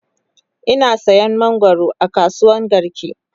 Ina sayan mangwaro a kasuwan garki